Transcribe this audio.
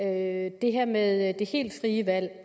af det her med det helt frie valg